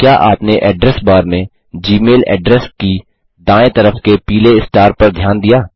क्या आपने address bar में जीमेल एड्रेस की दाएँ तरफ के पीले स्टार पर ध्यान दिया